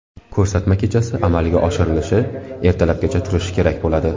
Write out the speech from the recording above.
Ko‘rsatma kechasi amalga oshirilishi, ertalabgacha turishi kerak bo‘ladi.